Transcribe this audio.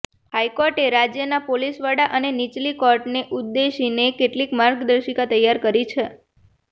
હાઇકોર્ટે રાજયના પોલીસ વડા અને નીચલી કોર્ટોને ઉદ્દેશીને કેટલીક માર્ગર્દિશકા તૈયાર કરી છે